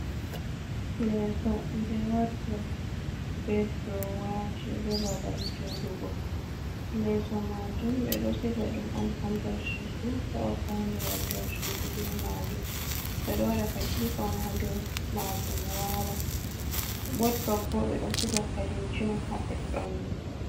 Leeso be wodrob, be drowaaji, be babal jooɗugo. Leeso maajum ɓe ɗo siga ɗum on ha nder sudu, heɓa faunira nder sudu be maajum. Ɓe ɗo waɗa katifa on haa dou maajum wala. Wodrob bo, ɓe ɗo siga kareji on ha ɗoɗɗon mai.